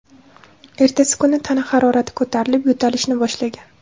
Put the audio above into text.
Ertasi kuni tana harorati ko‘tarilib, yo‘talishni boshlagan.